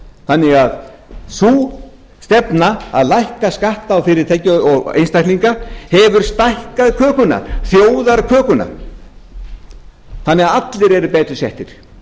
þannig að sú stefna að lækka skatta á fyrirtæki og einstaklinga hefur stækkað kökuna þjóðarkökuna þannig að allir eru betur settir